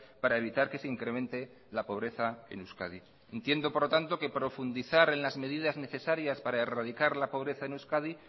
para evitar que se incremente la pobreza en euskadi entiendo por lo tanto que profundizar en las medidas necesarias para erradicar la pobreza en euskadi